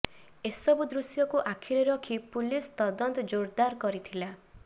ଏସବୁ ଦୃଶ୍ୟକୁ ଆଖିରେ ରଖି ପୋଲିସ ତଦନ୍ତ ଜୋରଦାର କରିଥିଲା